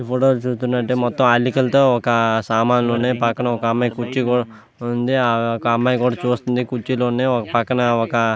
ఈ ఫోటో చూస్తుంటే మొత్తం అల్లికలతో ఒకా సామానులు ఉన్నాయి పక్కన ఒక అమ్మాయి కుర్చీలో వుంది ఒక అమ్మాయి కూడ చూస్తుంది కుర్చీలో వుంది పక్కన ఒక --